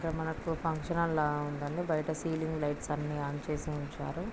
ఇక్కడ మనకు function hall లా ఉందండి. బయట సీలింగ్ లైట్స్ అనీ ఆన్ చేసి ఉంచారు.